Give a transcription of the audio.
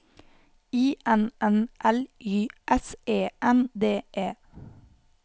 I N N L Y S E N D E